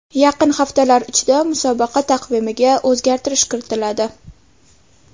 Yaqin haftalar ichida musobaqa taqvimiga o‘zgartirish kiritiladi.